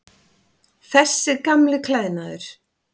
Þessi gamli klæðnaður.